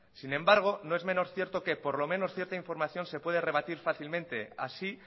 sin embargo no es menos cierto que por lo menos cierta información se puede rebatir fácilmente así